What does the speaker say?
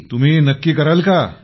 तुम्ही नक्की कराल का